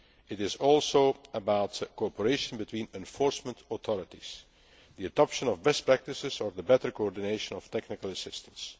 standards. It is also about cooperation between enforcement authorities, the adoption of best practices or the better coordination of technical